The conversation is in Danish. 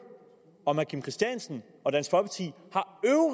om herre kim christiansen